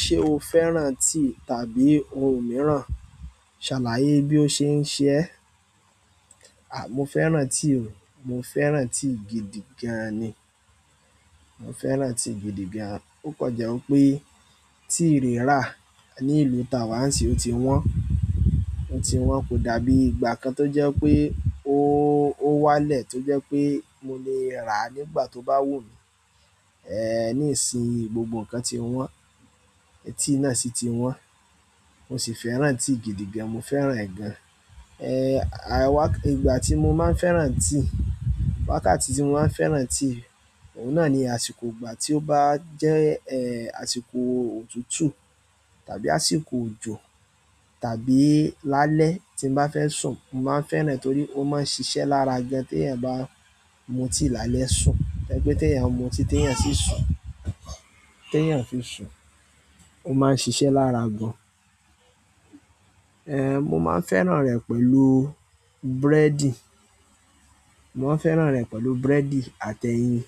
Ṣé o fẹ́ràn tea tàbí ohun mìíràn? Ṣàlàyé bí ó ṣe ń ṣe ẹ́. Mo fẹ́ràn tea o. Mo fẹ́ràn tea gidi gan ni. Mo fẹ́ràn tíì gidi gan. Ó kọ je pé tea rírà ní ìlú ta wá ń sì ó ti wọ́n. Ó ti wọ́n kò dàbí ìgbà kan tó jẹ́ pé ó, ó wá lẹ̀ tó jẹ́ pé mo lè rà á nígbà tó bá wù mí. Níìsínyi gbogbo nǹkan ti wọ́n, tea náà sì ti wọ́n. Mo sì fẹ́ràn tíì gidi gan. Mo fẹ́ràn ẹ̀ gan. Àwá-- ìgbà tí mo máa ń fẹ́ràn tea, wákàtí tí mo máa ń fẹ́ràn tea, òun náà ni àsìkò ìgbà tí ó bá jẹ́, àsìkò òtútù tàbí àsìkò òjò tàbí lálẹ́ tí n bá fẹ́ sùn. Mo máa ń fẹ́ràn torí ó máa ń ṣiṣẹ́ lára gan tí ẹ̀ n bá mu tea lálẹ́ sùn. Ẹni pe tí èèyàn mu tea, tí èèyàn sì sùn, tí èèyàn fì sùn, ó máa ń ṣiṣẹ́ lára gan. Ehn, mo máa ń fẹ́ràn rẹ̀ pẹ̀lú búrẹ́dì. Mo máa ń fẹ́ràn rẹ̀ pẹ̀lú búrẹ́dì àti ẹyin.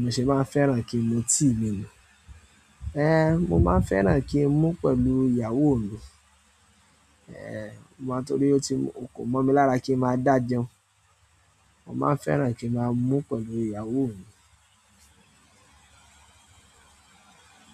Mo ṣe máa n fẹ́ràn ki n mu tea mi nu mo máa ń fẹ́ràn kí n mu pẹ̀lú ìyàwó mi. Mo máa torí ó ti-- kò mọ̀ mi lára kí n máa dà jẹun. Mo máa ń fẹ́ràn kí máa mu pẹ̀lú ìyàwó mi.